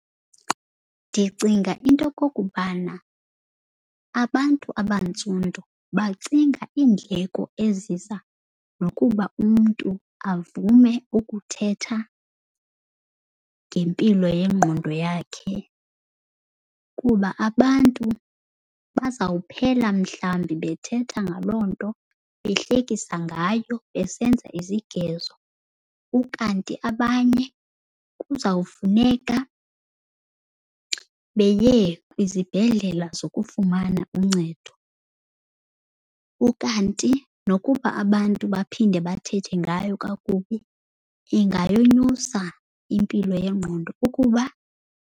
Ndicinga into okokubana abantu abantsundu bacinga iindleko eziza nokuba umntu avume ukuthetha ngempilo yengqondo yakhe, kuba abantu bazawuphela mhlawumbi bethetha ngaloo nto, behlekisa ngayo, besenza izigezo. Ukanti abanye kuzawufuneka beye kwizibhedlela zokufumana uncedo. Ukanti nokuba abantu baphinde bathethe ngayo kakubi ingayonyusa impilo yengqondo ukuba.